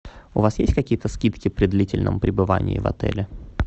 у вас есть какие то скидки при длительном прибывании в отеле